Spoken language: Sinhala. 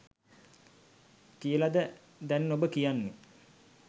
කියලද දැන් ඔබ කියන්නේ?